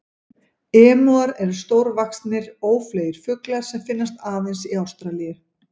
Emúar eru stórvaxnir, ófleygir fuglar sem finnast aðeins í Ástralíu.